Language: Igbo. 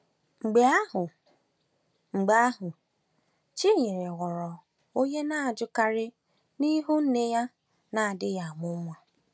Mgbe ahụ, Mgbe ahụ, Chinyere ghọrọ onye na-ajụkarị n’ihu nne ya na-adịghị amụ nwa.